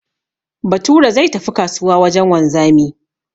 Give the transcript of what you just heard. Bature zai tafi kasuwa wajen wanzami